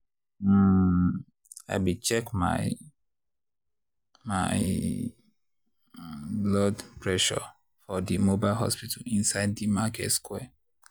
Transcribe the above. um i be check my my blood pressure for di mobile hospital inside di market square.